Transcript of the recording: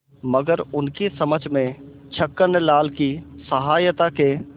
मगर उनकी समझ में छक्कनलाल की सहायता के